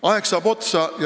Aeg saab otsa.